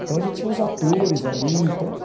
Então, a gente tinha uns atores ali então.